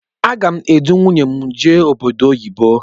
Agá m edu nwunye m jee obodo oyibo.